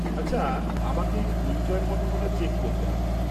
-আচ্ছা, আমাকে এই পরিচয়পত্রটা চেক করতে হবে।